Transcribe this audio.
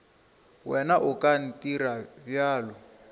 wena o ka ntirago bjalo